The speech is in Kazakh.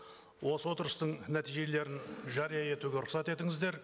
осы отырыстың нәтижелерін жария етуге рұқсат етіңіздер